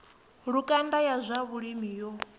lukanda ya zwa vhulimi yo